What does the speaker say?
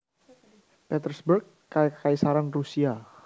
Petersburg Kakaisaran Rusia